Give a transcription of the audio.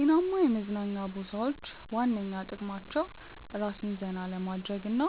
ጤናማ የመዝናኛ ቦታዎች ዋነኛ ጥቅማቸው ራስን ዘና ለማድረግ እና